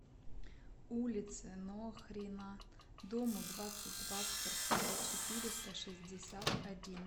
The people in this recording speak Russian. улице нохрина дому двадцать два в квартире четыреста шестьдесят один